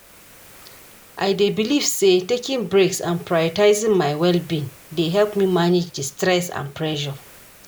I dey believe say taking breaks and prioritizing my well-being dey help me manage di stress and pressure.